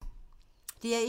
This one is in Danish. DR1